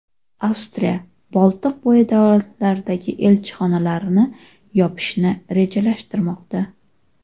Avstriya Boltiqbo‘yi davlatlaridagi elchixonalarini yopishni rejalashtirmoqda.